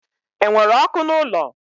Enwere ọkụ n'ụlọ?